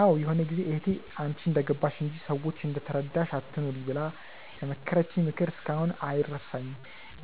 አዎ ይሆነ ጊዜ እህቴ "አንቺ እንደገባሽ እንጂ፤ ሰዎች እንደተረዳሽ አትኑሪ" ብላ የመከረችኝ ምክር እስካሁን አይረሳኝም፤